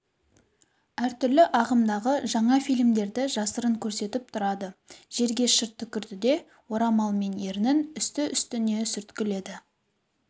әртүрлі ағымдағы жаңа фильмдерді жасырын көрсетіп тұрады жерге шырт түкірді де орамалмен ернін үсті-үстіне сүрткіледі